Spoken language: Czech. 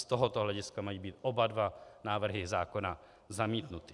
Z tohoto hlediska mají být oba dva návrhy zákona zamítnuty.